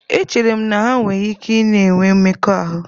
Echere m na ha nwere ike na-enwe mmekọahụ.